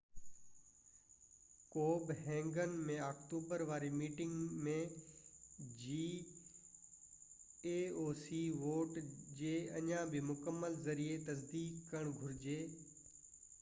ڪوپب هيگن ۾ آڪٽوبر واري meeting ۾ vote جي اڃا بہ مڪمل ioc جي ذريعي تصديق ڪرڻ گهرجي